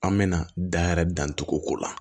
An mɛna dayɛlɛ dan tugu o la